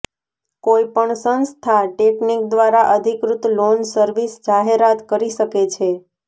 કોઈપણ સંસ્થા ટેકનિક દ્વારા અધિકૃત લોન સર્વિસ જાહેરાત કરી શકે છે